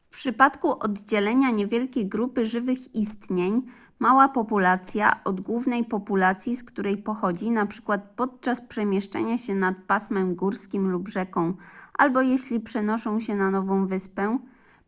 w przypadku oddzielenia niewielkiej grupy żywych istnień mała populacja od głównej populacji z której pochodzi np. podczas przemieszczania się nad pasmem górskim lub rzeką albo jeśli przenoszą się na nową wyspę